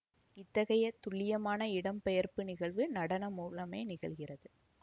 இத்தகைய துல்லியமான இடம் பெயர்ப்பு நிகழ்வு நடனம் மூலமே நிகழ்கிறது